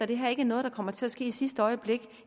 det her ikke er noget der kommer til at ske i sidste øjeblik